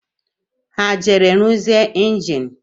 Ha e jere ruzie enjini?